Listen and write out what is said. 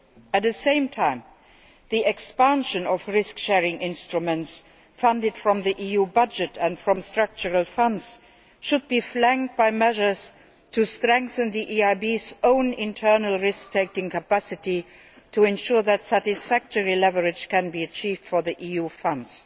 At the same time, the expansion of risk sharing instruments funded from the EU budget and from structural funds should be flanked by measures to strengthen the EIB's own internal risk taking capacity to ensure that satisfactory leverage can be achieved for the EU funds.